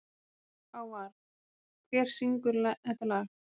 Hávarr, hver syngur þetta lag?